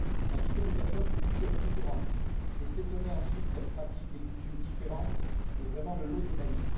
Inviter des personnes de cultures différentes et s'étonner ensuite qu'elles pratiquent des coutumes différentes est vraiment le lot des naïfs.